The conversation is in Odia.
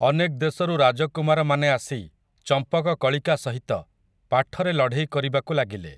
ଅନେକ୍ ଦେଶରୁ ରାଜକୁମାରମାନେ ଆସି, ଚମ୍ପକକଳିକା ସହିତ, ପାଠରେ ଲଢ଼େଇ କରିବାକୁ ଲାଗିଲେ ।